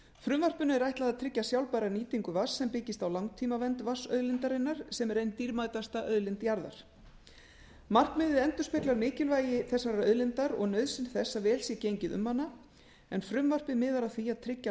frumvarpinu er ætlað að tryggja sjálfbæra nýtingu vatns sem byggist á langtímavernd vatnsauðlindarinnar sem er ein dýrmætasta auðlind jarðar markmiðið endurspeglar mikilvægi þessarar auðlindar og nauðsyn þess að vel sé gengið um hana en frumvarpið miðar að því að tryggja